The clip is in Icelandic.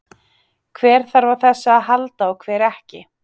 Hver þarf á þessu að halda og hver ekki?